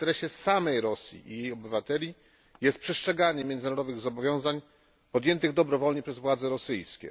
W interesie samej Rosji i jej obywateli leży przestrzeganie międzynarodowych zobowiązań podjętych dobrowolnie przez władze rosyjskie.